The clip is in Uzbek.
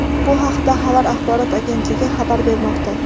Bu haqda "Xovar" axborot agentligi xabar bermoqda.